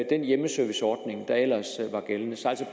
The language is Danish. den hjemmeserviceordning der ellers var gældende